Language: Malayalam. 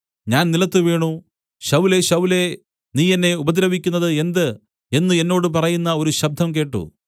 ഞാൻ നിലത്തുവീണു ശൌലേ ശൌലേ നീ എന്നെ ഉപദ്രവിക്കുന്നത് എന്ത് എന്നു എന്നോട് പറയുന്ന ഒരു ശബ്ദം കേട്ട്